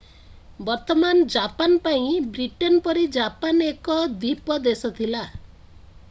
ବର୍ତ୍ତମାନ ଜାପାନ ପାଇଁ ବ୍ରିଟେନ ପରି ଜାପାନ ଏକ ଦ୍ୱୀପ ଦେଶ ଥିଲା